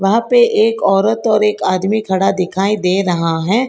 यहां पे एक औरत और एक आदमी खड़ा दिखाई दे रहा है।